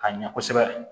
Ka ɲɛ kosɛbɛ